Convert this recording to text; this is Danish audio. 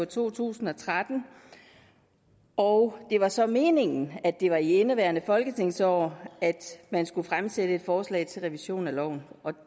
to tusind og tretten og det var så meningen at det var i indeværende folketingsår at man skulle fremsætte et forslag til revision af loven og